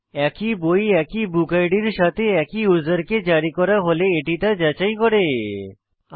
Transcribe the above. একটি বই একই বুকিড এর সাথে একই ইউসারকে জারি করা হলে এটি তা যাচাই করি